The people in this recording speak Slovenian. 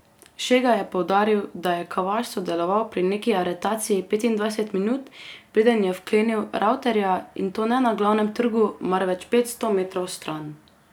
Šega je poudaril, da je Kavaš sodeloval pri neki aretaciji petindvajset minut, preden je vklenil Ravterja, in to ne na Glavnem trgu, marveč petsto metrov stran.